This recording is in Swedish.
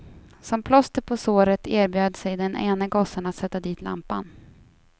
Som plåster på såret erbjöd sig den ene gossen att sätta dit lampan.